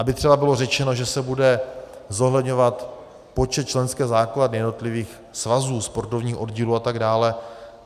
Aby třeba bylo řečeno, že se bude zohledňovat počet členské základny jednotlivých svazů, sportovních oddílů atd.